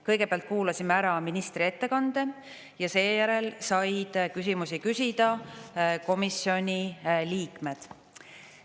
Kõigepealt kuulasime ära ministri ettekande ja seejärel said küsimusi küsida komisjoni liikmed.